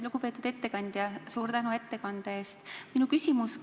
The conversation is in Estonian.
Lugupeetud ettekandja, suur tänu ettekande eest!